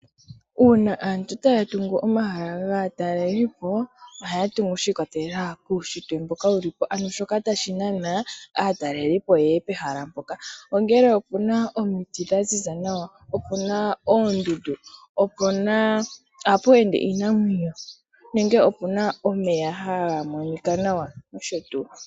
Uuna aantu taa tungu omahala gaa talelipo ohaa tungu shi ikwatelela kuushitwe mboka wu lipo ano shoka hashi nana aatalelipo oyo yeye pehala mpoka ongele opena omiti dha ziza nawa nenge opena oo ooondundu ohapu ende iinamwenyo nenge opena omeya haga monika nawa nosho tuu.